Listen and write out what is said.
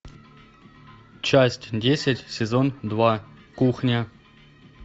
часть десять сезон два кухня